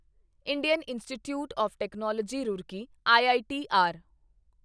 Indian Institute of Technology Roorkee EITR